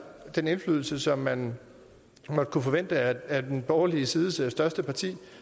den indflydelse som man måtte kunne forvente af den borgerlige sides største parti